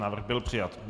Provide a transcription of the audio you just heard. Návrh byl přijat.